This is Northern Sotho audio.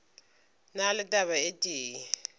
na le taba e tee